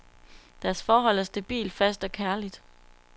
Deres forhold er stabilt, fast og kærligt.